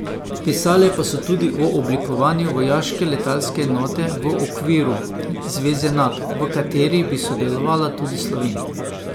Pisale pa so tudi o oblikovanju vojaške letalske enote v okviru zveze Nato, v kateri bi sodelovala tudi Slovenija.